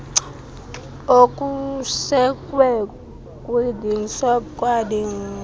okusekwe kwinsdp nakwipgds